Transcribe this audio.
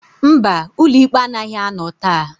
Mba, ụlọ ikpe anaghị anọ taa.